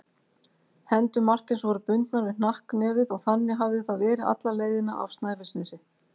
Hendur Marteins voru bundnar við hnakknefið og þannig hafði það verið alla leiðina af Snæfellsnesi.